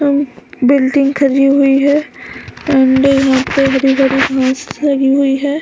अम building खड़ी हुई है और द यहाँ पे हरी भरी घांस रगी हुई है ।